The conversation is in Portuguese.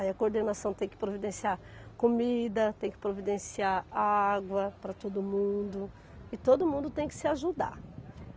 Aí a coordenação tem que providenciar comida, tem que providenciar água para todo mundo e todo mundo tem que se ajudar.